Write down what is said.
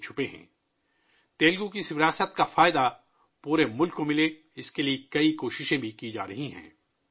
اس بات کو یقینی بنانے کے لیے بھی بہت ساری کوششیں کی جارہی ہیں کہ پورے ملک کو تیلگو کی اس وراثت کا فائدہ ملے